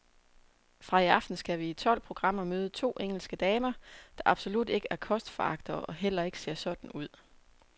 Fra i aften skal vi i tolv programmer møde to engelske damer, der absolut ikke er kostforagtere og heller ikke ser sådan ud.